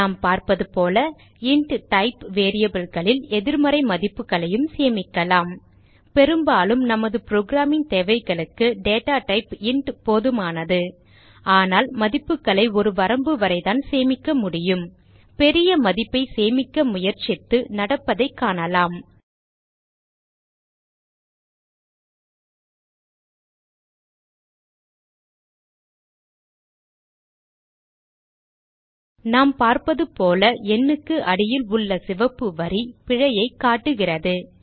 நாம் பார்ப்பது போல இன்ட் டைப் variableகளில் எதிர்மறை மதிப்புகளையும் சேமிக்கலாம் பெரும்பாலும் நம் புரோகிராமிங் தேவைகளுக்கு டேட்டா டைப் இன்ட் போதுமானது ஆனால் மதிப்புகளை ஒரு வரம்பு வரை தான் சேமிக்க முடியும் பெரிய மதிப்பை சேமிக்க முயற்சித்து நடப்பதை காணலாம் நாம் பார்ப்பது போல எண்ணுக்கு அடியில் உள்ள சிவப்பு வரி பிழையைக் காட்டுகிறது